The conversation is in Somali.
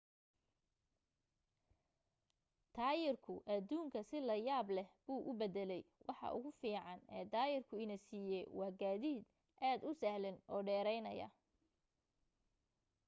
taayirku aduunka si la yaab leh buu u bedelay waxa ugu fiican ee taayirku ina siiyay waa gaadiid aad u sahlan oo dheeraynaya